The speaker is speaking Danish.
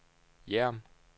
Hjerm